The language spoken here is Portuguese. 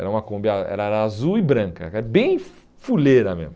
Era uma Kombi ah eh era azul e branca, que era bem fuleira mesmo.